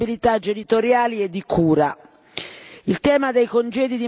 e di condivisione delle responsabilità genitoriali e di cura.